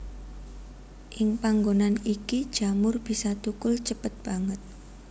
Ing panggonan iki jamur bisa thukul cepet banget